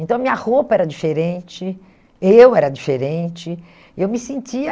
Então, a minha roupa era diferente, eu era diferente, eu me sentia...